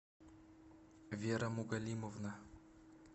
вера мугалимовна